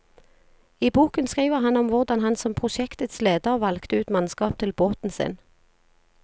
I boken skriver han om hvordan han som prosjektets leder valgte ut mannskap til båten sin.